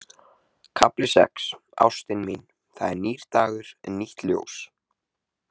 KAFLI SEX Ástin mín, það er nýr dagur, nýtt ljós.